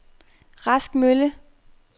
Rask Mølle